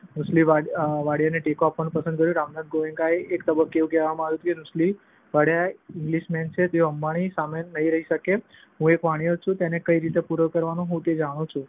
નુસ્લી વાડિયાને ટેકો આપવાનું પસંદ કર્યું. રામનાથ ગોએન્કાએ એક તબક્કે એવું કહ્યું હોવાનું મનાય છે કે નુસ્લી વાડિયા ઈંગ્લિશમેન છે. તેઓ અંબાણીનો સામનો નહિ કરી શકે. હું એક વાણિયો છું. તેને કઈ રીતે પૂરો કરવો તે હું જાણું છું દિવસો વીતવાની સાથે તેમને